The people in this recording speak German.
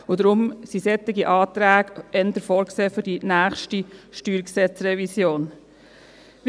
Deshalb sind solche Anträge eher für die nächste StG-Revision vorgesehen.